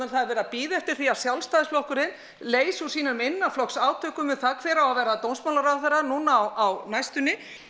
það er verið að bíða eftir því að Sjálfstæðisflokkurinn leysi úr sínum innanflokksátökum um það hver eigi að verða dómsmálaráðherra núna á næstunni